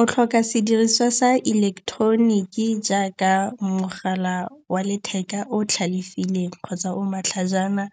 O tlhoka sediriswa sa ileketeroniki jaaka mogala wa letheka o tlhalefileng kgotsa o matlhajana.